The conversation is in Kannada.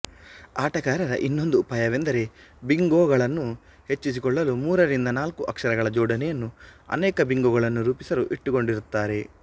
ಆಟಗಾರರ ಇನ್ನೊಂದು ಉಪಾಯವೆಂದರೆ ಬಿಂಗೋಗಳನ್ನು ಹೆಚ್ಚಿಸಿಕೊಳ್ಳಲು ಮೂರರಿಂದನಾಲ್ಕು ಅಕ್ಷರಗಳ ಜೋಡಣೆಯನ್ನು ಅನೇಕ ಬಿಂಗೋಗಳನ್ನು ರೂಪಿಸಲು ಇಟ್ಟುಕೊಂಡಿರುತ್ತಾರೆ